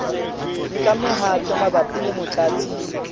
nka mehato mabapi le motlatsi